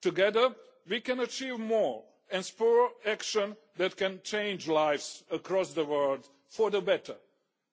Together we can achieve more and spur action that can change lives across the world for the better,